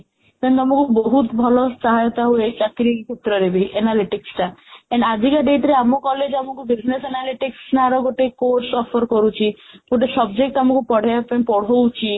then ଆମକୁ ବହୁତ ଭଲ ସହାୟତା ହୁଅ ଚାକିରୀ କ୍ଷେତ୍ରରେବି analytic ଟା then ଆଜିକା date ରେ ଆମ college ଆମକୁ business analytic ନାର ଗୋଟେ course offer କରୁଛି ଗୋଟେ subject ଆମକୁ ପଢେଇବା ପାଇଁ ପଢ଼ୁଛି